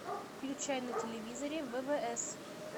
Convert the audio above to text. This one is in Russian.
включай на телевизоре ввс